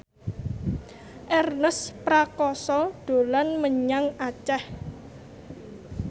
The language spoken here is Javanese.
Ernest Prakasa dolan menyang Aceh